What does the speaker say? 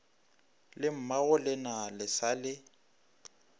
le mmagolena le sa le